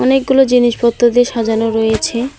অনেকগুলো জিনিসপত্র দিয়ে সাজানো রয়েছে।